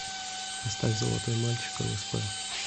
поставь золотой мальчик лсп